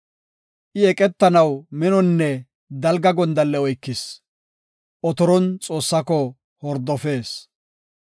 I eqetanaw minonne dalga gondalle oykis; otoron Xoossaako hordofees.